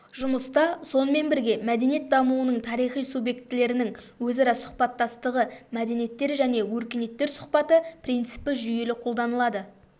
жұмыста сонымен бірге мәдениет дамуының тарихи субъектілерінің өзара сұхбаттастығы мәдениеттер және өркениеттер сұхбаты принципі жүйелі қолданылады